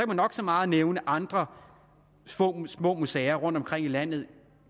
man nok så meget nævne andre små små museer rundtomkring i landet